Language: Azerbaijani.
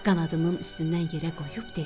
Qanadının üstündən yerə qoyub dedi.